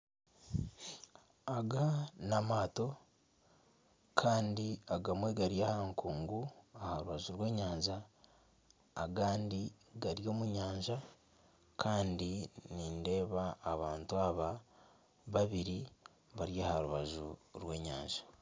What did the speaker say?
Aga n'amaato kandi agamwe gari aha nkungu aha rubaju rw'enyanja agandi gari omu nyanja kandi nindeeba abantu aba babiri bari aha rubaju rw'enyanja.